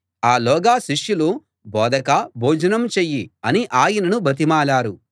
ఆలోగా శిష్యులు బోధకా భోజనం చెయ్యి అని ఆయనను బతిమాలారు